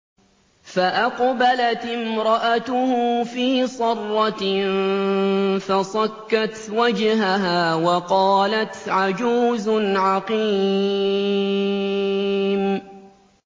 فَأَقْبَلَتِ امْرَأَتُهُ فِي صَرَّةٍ فَصَكَّتْ وَجْهَهَا وَقَالَتْ عَجُوزٌ عَقِيمٌ